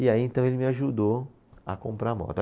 E aí então ele me ajudou a comprar a moto.